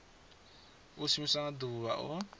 i shumiwa nga ḓuvha o